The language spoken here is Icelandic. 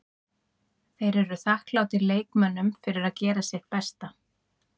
Þeir eru þakklátir leikmönnunum fyrir að gera sitt besta.